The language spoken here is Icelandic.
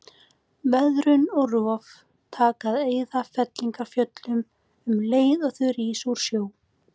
Veðrun og rof taka að eyða fellingafjöllunum um leið og þau rísa úr sjó.